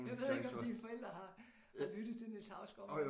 Jeg ved ikke om dine forældre har lyttet til Niels Hausgaard